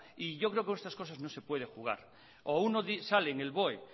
y yo creo que con estas cosas no se puede jugar o uno sale en el boe